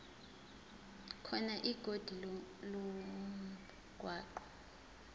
khona ikhodi lomgwaqo